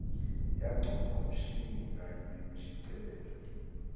yangcondvomshini kanye nemishicelelo